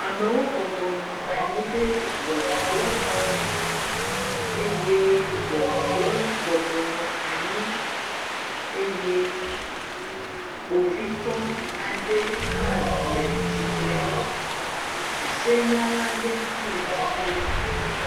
Amewo bɔbɔnɔ anyi ɖe ŋɔnudrɔxɔme eye ŋɔnudrɔla bɔbɔnɔ anyi eye kpovitɔ aɖe hã le tsitrenu. Esenyala aɖe hã le tsitre nu.